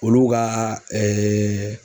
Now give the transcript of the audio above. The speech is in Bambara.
Olu ka .